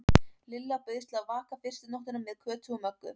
Lilla bauðst til að vaka fyrstu nóttina með Kötu og Möggu.